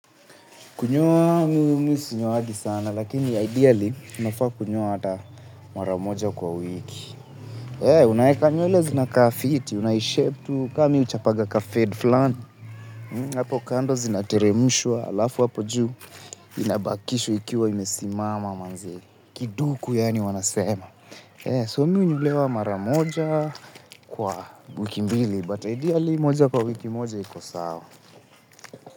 Kunyoa mimi sinyowangi sana, lakini ideally, unafaa kunyoa hata mara moja kwa wiki. Unaeka nywele zinaka fiti, unaishapu tu kama mimi huchapaga kafade fulani. Hapo kando zinateremushwa alafu hapo juu. Inabakishwa ikiwa imesimama manze. Kiduku yaani wanasema. So mimi hunyolewa mara moja kwa wiki mbili. But ideally, moja kwa wiki moja, iko sawa.